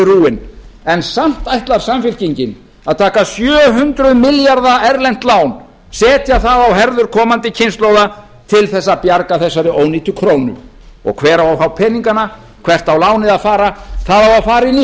rúinn samt ætlar samfylkingin að taka sjö hundruð milljarða erlent lán setja það á herðar komandi kynslóða til að bjarga þessari ónýtu krónu og hver á að fá peningana hvert á lánið að fara það á að fara inn í